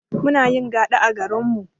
Munayin gaɗa a garinmu